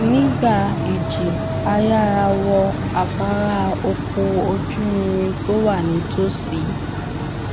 nígbà ìjì a yára wọ afárá ọkọ ojúirin tó wà nítòsí